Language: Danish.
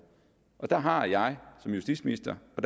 der har jeg som justitsminister og